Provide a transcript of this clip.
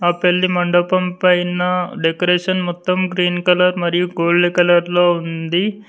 ఆ పెళ్లి మండపం పైన డెకరేషన్ మొత్తం గ్రీన్ కలర్ మరియు గోల్డ్ కలర్ లో ఉంది.